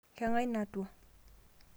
keng'ae natwa?